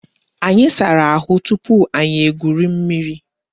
Anyị sara ahụ tupu anyị egwuri mmiri